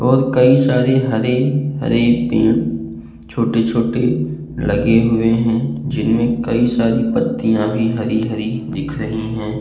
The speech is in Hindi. और कई सारे हरे-हरे पेड़ छोटे-छोटे लगे हुए हैं। जिन में कई सारी पत्तियाँ भी हरी-हरी दिख रही हैं।